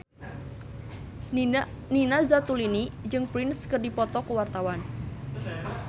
Nina Zatulini jeung Prince keur dipoto ku wartawan